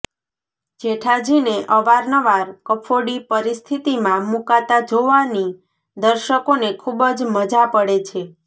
જેઠાજીને અવારનવાર કફોડી પરિસ્થિતિમાં મૂકાતા જોવાની દર્શકોને ખૂબ જ મજા પડે છે